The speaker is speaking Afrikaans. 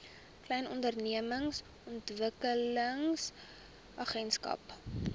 klein ondernemings ontwikkelingsagentskap